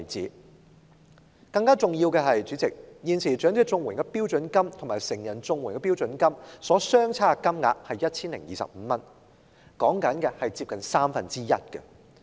主席，更重要的是現時長者綜援與成人綜援的標準金額相差 1,025 元，差額近三分之一。